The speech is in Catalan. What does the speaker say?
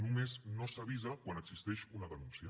només no s’avisa quan existeix una denúncia